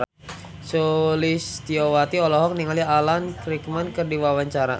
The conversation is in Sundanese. Sulistyowati olohok ningali Alan Rickman keur diwawancara